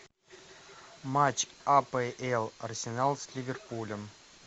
матч апл арсенал с ливерпулем